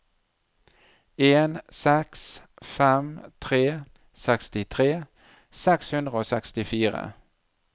en seks fem tre sekstitre seks hundre og sekstifire